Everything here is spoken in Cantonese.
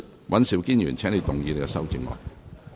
尹兆堅議員，請動議你的修正案。